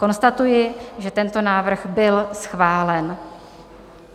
Konstatuji, že tento návrh byl schválen.